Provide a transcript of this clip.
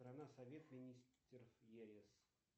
страна совет министров ес